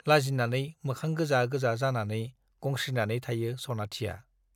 लाजिनानै मोखां गोजा गोजा जानानै गंस्रिनानै थायो सनाथिया ।